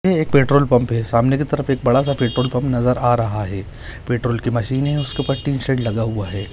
Petrol pump है सामने की तरफ एक बड़ा सा पेट्रोल पम्प नजर आ रहा है पेट्रोल की मशीन है उसके ऊपर टिन शेड लगा हुआ है।